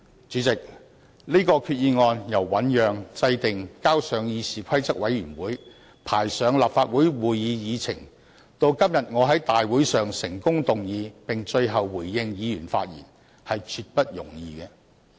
主席，這項擬議決議案由醞釀、制訂、呈交議事規則委員會、排上立法會會議議程，到今天我在大會上成功動議，最後並回應議員的發言，絕不容易。